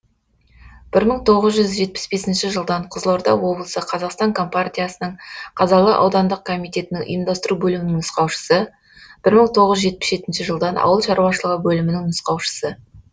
бір мың тоғыз жүз жетпіс бесінші жылдан қызылорда облысы қазақстан компартиясының қазалы аудандық комитетінің ұйымдастыру бөлімінің нұсқаушысы бір мың тоғыз жүз жетпіс жетінші жылдан ауыл шаруашылығы бөлімінің нұсқаушысы